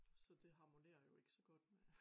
Så det harmonerer jo ikke så godt med